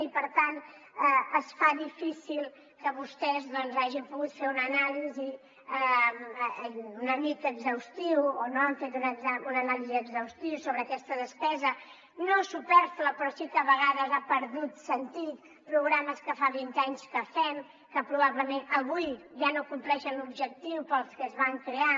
i per tant es fa difícil que vostès doncs hagin pogut fer una anàlisi una mica exhaustiva o no han fet una anàlisi exhaustiva sobre aquesta despesa no supèrflua però sí que a vegades ha perdut sentit programes que fa vint anys que fem que probablement avui ja no compleixen l’objectiu per al que es van crear